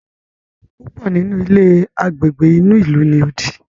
púpọ nínú ilé Àgbègbè inú ilu ní odì.